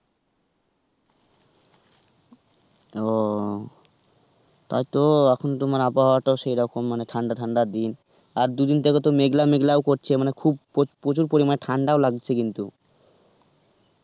ও, তাই তো এখন তোমার আবহাওয়া টাও সেরকম মানে ঠান্ডা ঠান্ডা দিন, আর দুদিন থেকে তো মেঘলা মেঘলা ও করছে মানে খুব প্রচুর পরিমানে ঠান্ডাও লাগছে কিন্তু.